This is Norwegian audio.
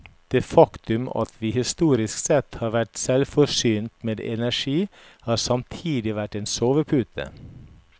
Det faktum at vi historisk sett har vært selvforsynt med energi har samtidig vært en sovepute.